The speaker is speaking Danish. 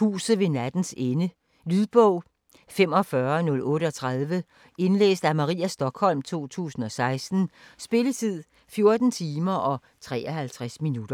Huset ved nattens ende Lydbog 45038 Indlæst af Maria Stokholm, 2016. Spilletid: 14 timer, 53 minutter.